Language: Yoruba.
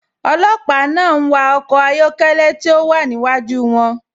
Olòpà náà n wà ọkọ̀ ayọ̀kẹlẹ̀ tí o wà níwájú wọn.